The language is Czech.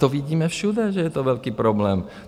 To vidíme všude, že je to velký problém.